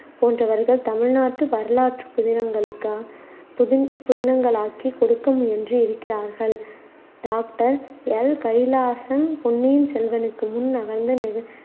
போன்றவர்கள் தமிழ்நாட்டு வரலாற்றுப் புதினங்களுக்கா புதின்~ புதினங்களாக்கிக் கொடுக்க முயன்று இருக்கிறார்கள். டாக்டர் எல் கைலாசம் பொன்னியின் செல்வனுக்கு முன்